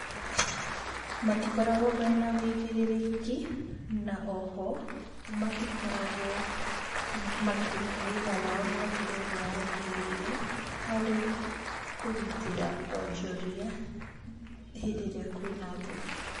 Matikoragwo mena ũigĩrĩrĩki, na oho matikoragwo makĩruta wĩra wao na njĩra ĩrĩa yagĩrĩire, harĩ kũgitĩra onjoria hĩndĩ ĩrĩa kwĩ na ngũĩ.